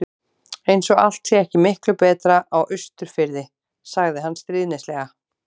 Eins og allt sé ekki miklu betra á Austurfirði. sagði hann stríðnislega.